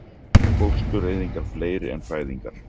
Fóstureyðingar fleiri en fæðingar